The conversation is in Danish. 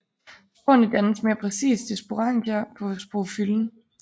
Sporerne dannes mere præcist i sporangier på sporofyllen